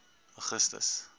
augustus